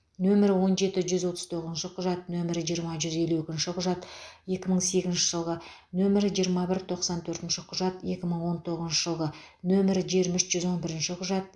нөмірі он жеті жүз отыз тоғызыншы құжат нөмірі жиырма жүз елу екінші құжат екі мың сегізінші жылғы нөмірі жиырма бір тоқсан төртінші құжат екі мың он тоғызыншы жылғы нөмірі жиырма үш жүз он бірінші құжат